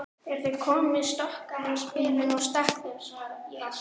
Þegar þau komu stokkaði hann spilin og stakk þeim svo í vasann.